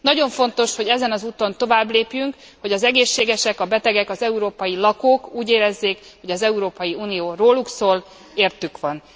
Nagyon fontos, hogy ezen az úton továbblépjünk, hogy az egészségesek, a betegek, az európai lakók úgy érezzék, hogy az Európai Unió róluk szól, értük van.